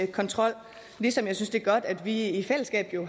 kontrol ligesom jeg synes det er godt at vi i fællesskab jo